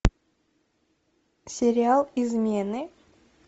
сериал измены